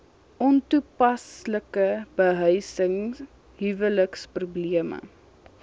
ontoepaslike behuising huweliksprobleme